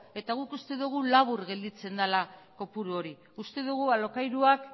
eta guk uste dugu labur gelditzen dela kopuru hori uste dugu alokairuak